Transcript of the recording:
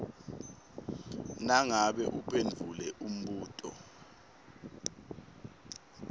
nangabe uphendvule umbuto